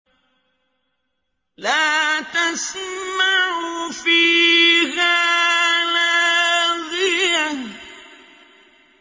لَّا تَسْمَعُ فِيهَا لَاغِيَةً